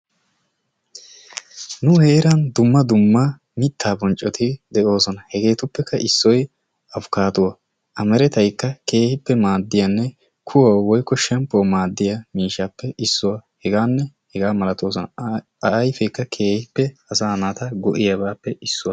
Nu heeran dumma dumma mittaa boccoti de'oosona.. Hegeetuppekka issoy apikaaduwaa a merettaynnee keehippe maaddiyaanne kuwaawu woykko shemppuwaawu maaddiyaa miishshappe issuwaa. Hegaanne hegaa malatoosona. a ayfeekka keehippe asaa naata go"iyaabappe issuwaa.